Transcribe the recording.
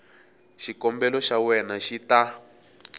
xikombelo xa wena xi ta